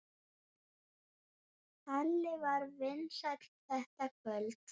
Halli var vinsæll þetta kvöld.